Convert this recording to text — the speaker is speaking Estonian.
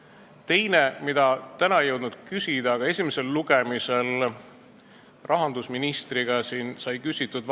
On ka teine probleem, mille kohta täna ei jõudnud küsida, aga eelarve esimesel lugemisel sai seda rahandusministrilt küsitud.